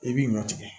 I bi ɲɔ tigɛ